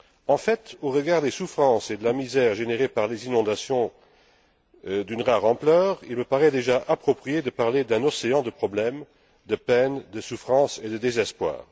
En fait, au regard des souffrances et de la misère générées par les inondations d'une rare ampleur, il me paraît déjà approprié de parler d'un océan de problèmes, de peines, de souffrances et de désespoir.